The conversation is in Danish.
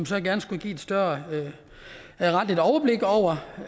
så gerne skulle give et større retligt overblik over